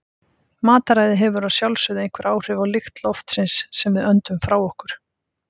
Mataræði hefur að sjálfsögðu einhver áhrif á lykt loftsins sem við öndum frá okkur.